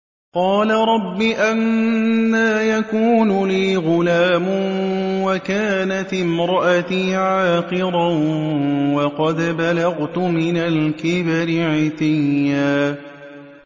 قَالَ رَبِّ أَنَّىٰ يَكُونُ لِي غُلَامٌ وَكَانَتِ امْرَأَتِي عَاقِرًا وَقَدْ بَلَغْتُ مِنَ الْكِبَرِ عِتِيًّا